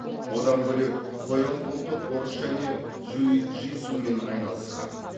одан бөлек қоян қолтық ұрыс және джиу джитсумен айналысқан